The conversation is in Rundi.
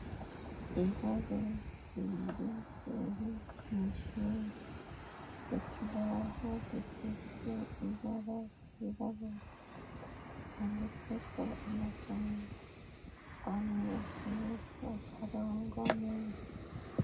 intebe zibiri ziri mw'ishuri ikibaho gifise ibara ry'ibabura handitseko amajambo amwe aciyeko akarongo munsi